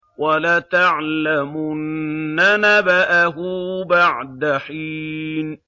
وَلَتَعْلَمُنَّ نَبَأَهُ بَعْدَ حِينٍ